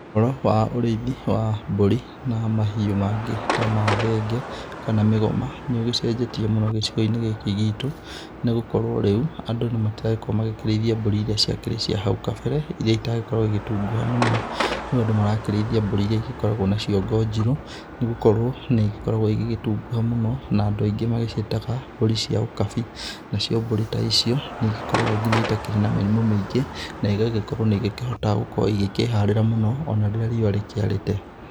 Ũhoro wa ũrĩithi wa mbũri na mahiũ mangĩ ta ma thenge kana mĩgoma nĩ ũgĩcenjetie mũno gĩcigo-inĩ gĩkĩ gitũ nĩ gũkorwo rĩu andũ matiragĩkorwo magĩkĩrĩithia mbũri iria ciakĩrĩ cia hau kabere iria citagĩkoragwo igĩtunguha mũno, rĩu andũ marakĩrĩithia mbũri iria igĩkoragwo na ciongo njirũ, nĩ gũkorwo nĩ igĩkoragwo igĩgĩthunguha mũno, na andũ aingĩ magĩciĩtaga mbũri cia ũkabi. Nacio mbũri ta icio, nĩ igĩkoragwo nginya itakĩrĩ na mĩrimũ mĩingĩ na igagĩkorwo nĩ igĩkĩhotaga gũkorwo igĩkĩharĩra mũno o na rĩrĩa riũa rĩkĩarĩte.